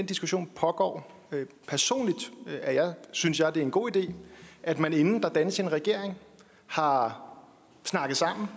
diskussion pågår og personligt synes jeg det er en god idé at man inden der dannes en regering har snakket sammen